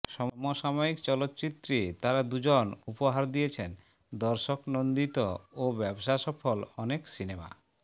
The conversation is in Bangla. সমসাময়িক চলচ্চিত্রে তারা দুজন উপহার দিয়েছেন দর্শকনন্দিত ও ব্যবসা সফল অনেক সিনেমা